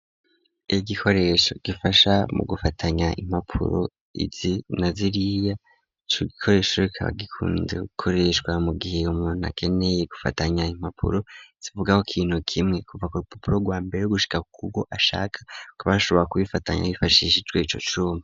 Iki gikoresho gifasha mu gufatanya impapuro izi na ziriya c'igikoresho rikaba gikunde gikoreshwa mu gihe umuntu akeneye gufatanya impapuro zivugaho kintu kimwe kuva k'upapuro rwambere gushika kuwo ashaka kubashobora kubifatanya bifashisha ico cuma.